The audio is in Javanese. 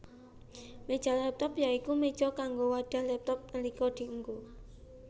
Méja laptop ya iku méja kanggo wadhah laptop nalika dienggo